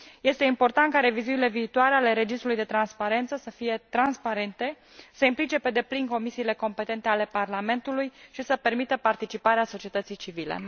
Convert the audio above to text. Este important ca revizuirile viitoare ale registrului de transparență să fie transparente, să implice pe deplin comisiile competente ale Parlamentului și să permită participarea societății civile.